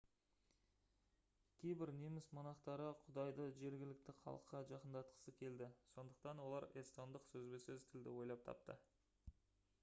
кейбір неміс монахтары құдайды жергілікті халыққа жақындатқысы келді сондықтан олар эстондық сөзбе-сөз тілді ойлап тапты